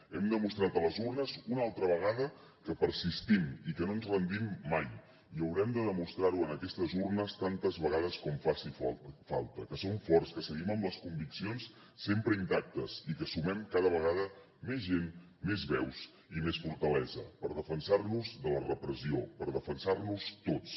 hem demostrat a les urnes una altra vegada que persistim i que no ens rendim mai i haurem de demostrar ho en aquestes urnes tantes vegades com faci falta que som forts que seguim amb les conviccions sempre intactes i que sumem cada vegada més gent més veus i més fortalesa per defensar nos de la repressió per defensar nos tots